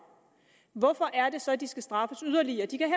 hvorfor er det så at de skal straffes yderligere de kan